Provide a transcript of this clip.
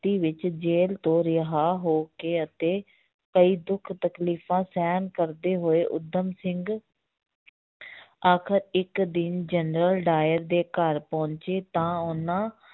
~ਤੀ ਵਿੱਚ ਜੇਲ੍ਹ ਤੋ ਰਿਹਾ ਹੋ ਕੇ ਅਤੇ ਕਈ ਦੁੱਖ ਤਕਲੀਫ਼ਾਂ ਸਹਿਣ ਕਰਦੇ ਹੋਏ ਊਧਮ ਸਿੰਘ ਆਖ਼ਰ ਇੱਕ ਦਿਨ ਜਨਰਲ ਡਾਇਰ ਦੇ ਘਰ ਪਹੁੰਚੇ ਤਾਂ ਉਹਨਾਂ